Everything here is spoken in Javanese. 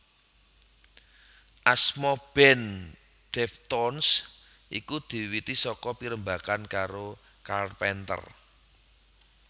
Asma band Deftones iku diwiwiti saka pirembagan karo Carpenter